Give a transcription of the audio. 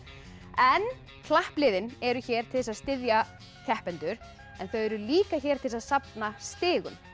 en klappliðin eru hér til þess að styðja keppendur en þau eru líka hér til þess að safna stigum